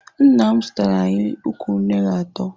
Nna m zụtara anyị ukwu unere atọ.